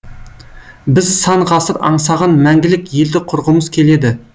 біз сан ғасыр аңсаған мәңгілік елді құрғымыз келеді